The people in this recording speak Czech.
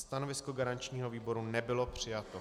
Stanovisko garančního výboru nebylo přijato.